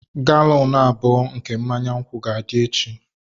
Galọn abụọ nke mmanya nkwụ ga-adị echi.